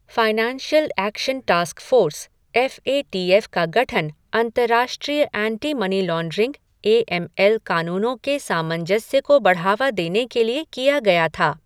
Financial action task force, F A T F का गठन अंतरराष्ट्रीय anti money laundering A M L कानूनों के सामंजस्य को बढ़ावा देने के लिए किया गया था।